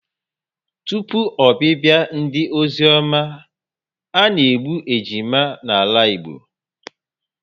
Tụpụ obibia ndị ozioma, ana-egbu ejima n'ala Igbo